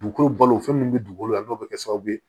Dugukolo balo fɛn min bɛ dugukolo la n'o bɛ kɛ sababu ye